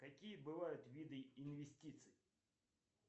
какие бывают виды инвестиций